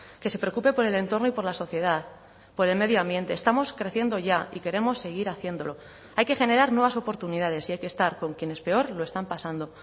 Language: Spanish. que se preocupe por el entorno y por la sociedad por el medio ambiente estamos creciendo ya y queremos seguir haciéndolo hay que generar nuevas oportunidades y hay que estar con quienes peor lo están pasando